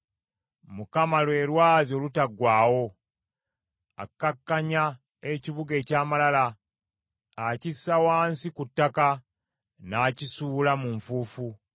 Mukama lwe lwazi olutaggwaawo, akkakkanya ekibuga eky’amalala, akissa wansi ku ttaka, n’akisuula mu nfuufu.